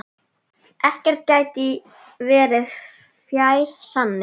Ekkert gæti verið fjær sanni.